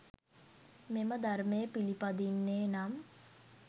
මෙම ධර්මය පිළිපදින්නේ නම්